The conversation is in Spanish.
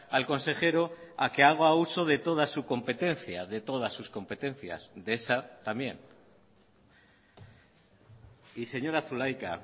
al consejero a que haga uso de toda su competencia de todas sus competencias de esa también y señora zulaica